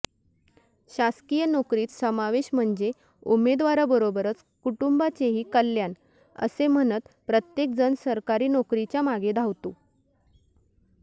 शासकीय नोकरीत समावेश म्हणजे उमेदवाराबरोबरच कुटुंबाचेही कल्याण असे म्हणत प्रत्येकजण सरकारी नोकरीच्या मागे धावतो